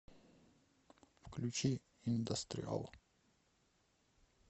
включи индастриал